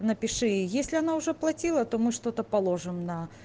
напиши если она уже оплатила то мы что-то положим на